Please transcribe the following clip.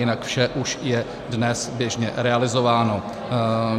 Jinak vše už je dnes běžně realizováno.